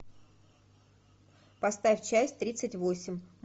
поставь часть тридцать восемь